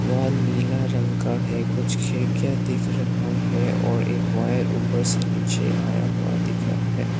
Wall नीला रंग का है कुछ खिड़कियां दिख रहा है और एक वायर ऊपर से नीचे आया हुआ दिख रहा है।